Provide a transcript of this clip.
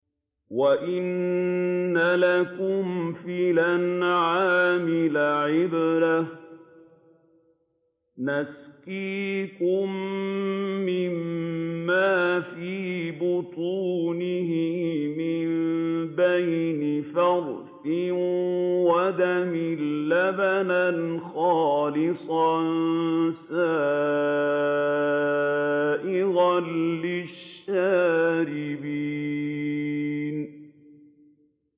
وَإِنَّ لَكُمْ فِي الْأَنْعَامِ لَعِبْرَةً ۖ نُّسْقِيكُم مِّمَّا فِي بُطُونِهِ مِن بَيْنِ فَرْثٍ وَدَمٍ لَّبَنًا خَالِصًا سَائِغًا لِّلشَّارِبِينَ